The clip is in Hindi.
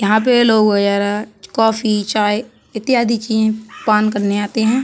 यहाँ पे लोग वगैरा कॉफी चाय इत्यादि चीजें पान करने आते हैं।